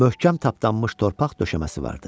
Möhkəm tapdanmış torpaq döşəməsi vardı.